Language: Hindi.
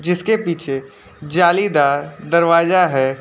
इसके पीछे जालीदार दरवाजा है।